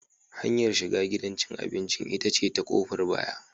Hanyar shiga gidan cin abinci ita ce ta ƙofar baya.